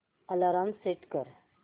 alarm set कर